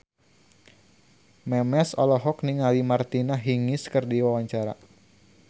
Memes olohok ningali Martina Hingis keur diwawancara